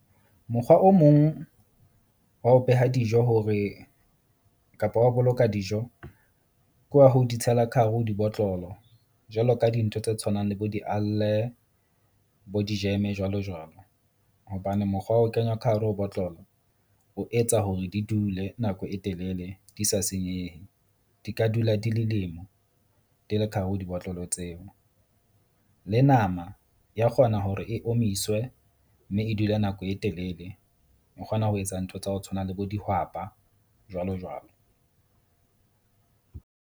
Mokgwa o mong wa ho beha dijo hore kapa wa boloka dijo. Ke wa ho di tshela ka hare ho di botlolo, jwalo ka dintho tse tshwanang le bo di bo di-jam-e jwalo jwalo. Hobane mokgwa wa ho kenywa ka hare ho botlolo o etsa hore di dule nako e telele, di sa senyehe. Di ka dula di , di le ka hare ho dibotlolo tseo. Le nama ya kgona hore e omiswe mme e dule nako e telele. O kgona ho etsa ntho tsa ho tshwana le bo dihwapa, jwalo jwalo.